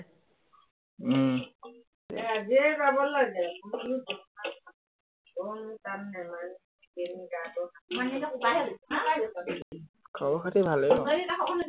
উম খবৰ-খাতি ভালেই আৰু